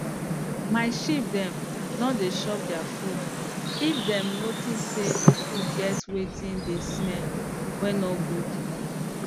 my sheep dem no dey chop their food if dem notice say d food get wetin dey smell wey no good